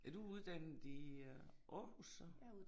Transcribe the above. Er du uddannet i øh Aarhus så?